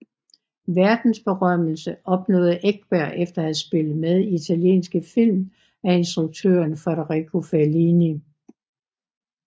Verdensberømmelse opnåede Ekberg efter at have spillet med i italienske film af instruktøren Federico Fellini